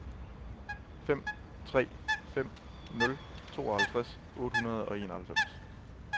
fem tre fem nul tooghalvtreds otte hundrede og enoghalvfems